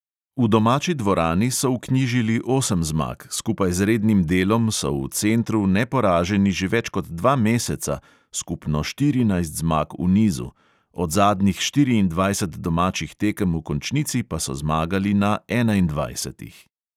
V domači dvorani so vknjižili osem zmag, skupaj z rednim delom so v centru neporaženi že več kot dva meseca (skupno štirinajst zmag v nizu), od zadnjih štiriindvajset domačih tekem v končnici pa so zmagali na enaindvajsetih.